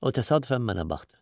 O təsadüfən mənə baxdı.